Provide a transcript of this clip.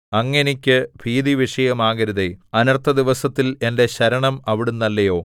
അങ്ങ് എനിക്ക് ഭീതിവിഷയമാകരുതേ അനർത്ഥദിവസത്തിൽ എന്റെ ശരണം അവിടുന്നല്ലയോ